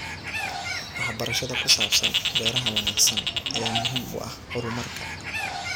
Waxbarashada ku saabsan beeraha wanaagsan ayaa muhiim u ah horumarka.